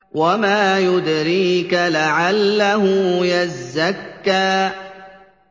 وَمَا يُدْرِيكَ لَعَلَّهُ يَزَّكَّىٰ